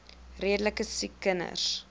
redelike siek kinders